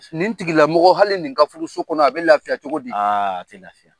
Nin tigila mɔgɔ hali nin ka furuso kɔnɔ a bɛ lafiya cogo di? A tɛ lafiya.